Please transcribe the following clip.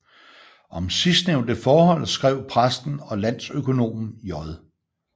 Om sidsnævnte forhold skrev præsten og landøkonomen J